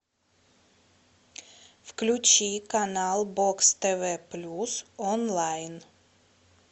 включи канал бокс тв плюс онлайн